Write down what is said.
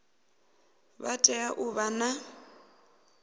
vha tea u vha na